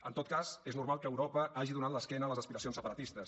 en tot cas és normal que europa hagi donat l’esquena a les aspiracions separatistes